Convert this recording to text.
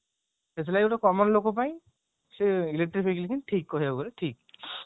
ସେଥିଲାଗି common ଲୋକ ପାଇଁ ସେ electric ବିଲ ହିଁ ଠିକ କହିବାକୁ ଗଲେ ଠିକ